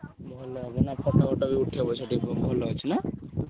ଭଲ ହବ ନା photo ୱୋଟୋ ବି ଉଠେଇହବ ସେଠି ଭଲ ଅଛି ନା?